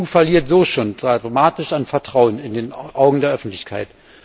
Die EU verliert so schon dramatisch an Vertrauen in den Augen der Öffentlichkeit.